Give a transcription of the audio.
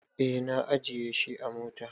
Eh na ajiye shi a mota.